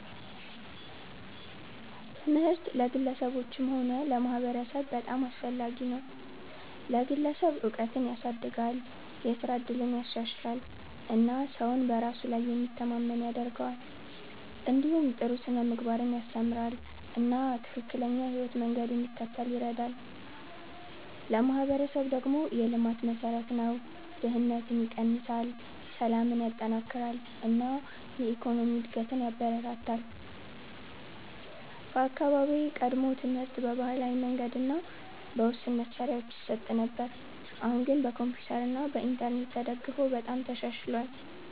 ትምህርት ለግለሰቦችም ሆነ ለማህበረሰብ በጣም አስፈላጊ ነው። ለግለሰብ እውቀትን ያሳድጋል፣ የስራ እድልን ያሻሽላል እና ሰውን በራሱ ላይ የሚተማመን ያደርገዋል። እንዲሁም ጥሩ ስነ-ምግባርን ያስተምራል እና ትክክለኛ የህይወት መንገድ እንዲከተል ይረዳል። ለማህበረሰብ ደግሞ የልማት መሠረት ነው፤ ድህነትን ይቀንሳል፣ ሰላምን ያጠናክራል እና የኢኮኖሚ እድገትን ያበረታታል። በአካባቢዬ ቀድሞ ትምህርት በባህላዊ መንገድ እና በውስን መሳሪያዎች ይሰጥ ነበር፣ አሁን ግን በኮምፒውተር እና በኢንተርኔት ተደግፎ በጣም ተሻሽሏል።